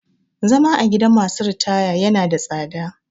Zama a gidan masu ritaya ya na da tsada